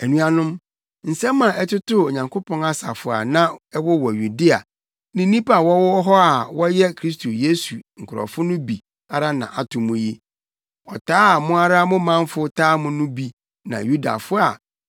Anuanom, nsɛm a ɛtotoo Onyankopɔn asafo a na ɛwowɔ Yudea ne nnipa a wɔwɔ hɔ a na wɔyɛ Kristo Yesu nkurɔfo no bi ara na ato mo yi. Ɔtaa a mo ara mo manfo taa mo no bi na Yudafo a